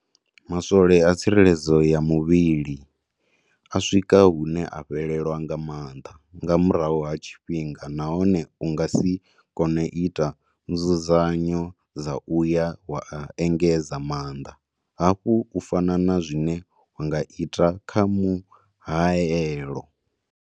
Maswole a tsireledzo ya muvhili a swika hune a fhelelwa nga maanḓa nga murahu ha tshifhinga nahone u nga si kone u ita nzudzanyo dza u ya wa a engedza maanḓa hafhu u fana na zwine wa nga ita kha muhaelo.